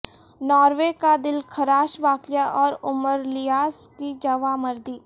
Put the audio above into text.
Norway کا دلخراش واقعہ اور عمر الیاس کی جواں مردی